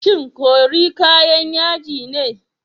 Shin curry kayan yaji ne?